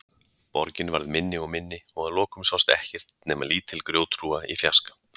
Borgin varð minni og minni og að lokum sást ekkert nema lítil grjóthrúga í fjarska.